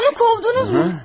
Onu qovdunuz mu?